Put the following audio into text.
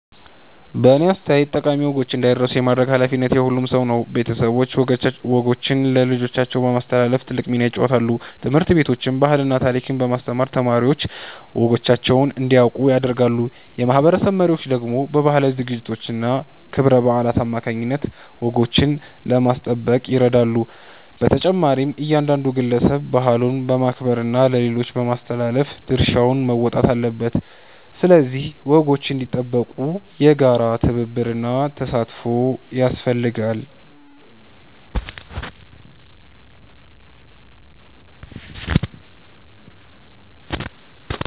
በእኔ አስተያየት ጠቃሚ ወጎች እንዳይረሱ የማድረግ ኃላፊነት የሁሉም ሰው ነው። ቤተሰቦች ወጎችን ለልጆቻቸው በማስተላለፍ ትልቅ ሚና ይጫወታሉ። ትምህርት ቤቶችም ባህልና ታሪክን በማስተማር ተማሪዎች ወጎቻቸውን እንዲያውቁ ያደርጋሉ። የማህበረሰብ መሪዎች ደግሞ በባህላዊ ዝግጅቶችና ክብረ በዓላት አማካይነት ወጎችን ለማስጠበቅ ይረዳሉ። በተጨማሪም እያንዳንዱ ግለሰብ ባህሉን በማክበርና ለሌሎች በማስተላለፍ ድርሻውን መወጣት አለበት። ስለዚህ ወጎች እንዲጠበቁ የጋራ ትብብርና ተሳትፎ ያስፈልጋል።